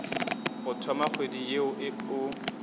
go thoma kgwedi ye o